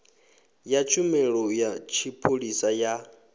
ya tshumelo ya tshipholisa ya